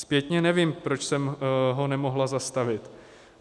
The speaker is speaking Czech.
Zpětně nevím, proč jsem ho nemohla zastavit.